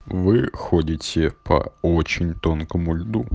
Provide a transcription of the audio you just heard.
вы ходите по очень тонкому